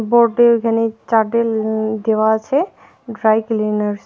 Board -এ ওইখানে চাদেল দেওয়া আছে ড্রাই ক্লিনার্স ।